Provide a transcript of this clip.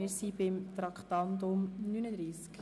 Wir kommen zu Traktandum 39.